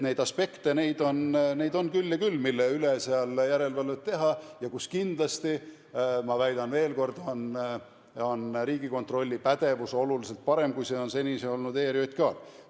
Neid aspekte on küll ja küll, mille üle seal järelevalvet teha, ja kus kindlasti, ma väidan veel kord, on Riigikontrolli pädevus oluliselt parem, kui see on senini olnud ERJK-l.